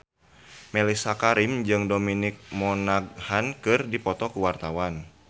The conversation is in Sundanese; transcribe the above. Mellisa Karim jeung Dominic Monaghan keur dipoto ku wartawan